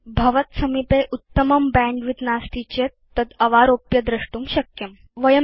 यदि भवत्सविधे बैण्डविड्थ उत्तमं नास्ति तर्हि भवान् तद् अवारोप्य द्रष्टुं शक्नोति